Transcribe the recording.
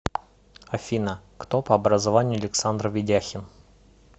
афина кто по образованию александр ведяхин